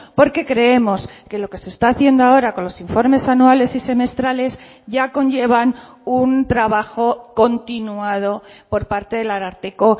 porque creemos que lo que se está haciendo ahora con los informes anuales y semestrales ya conllevan un trabajo continuado por parte del ararteko